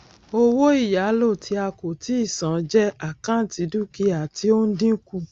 owó ìyálò ti a kò tíì san jẹ àkáǹtì dúkìá tí ó ń dínkù